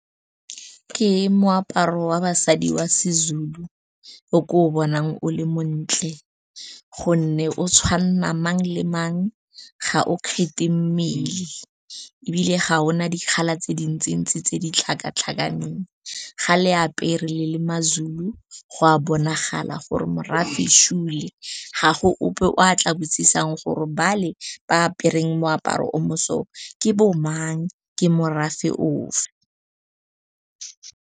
Ke moaparo wa basadi wa siZulu o ko o bonang o le montle gonne o tshwanna mang le mang, ga o kgethe mmele ebile ga ona di-colour tse dintsi ntsi, tse di tlhakatlhakaneng. Ga le apere le le mazulu, go a bonagala gore morafe . Ga go ope o a tla botsisang gore ba le ba apereng moaparo o mo so ke bo mang, ke morafe ofe.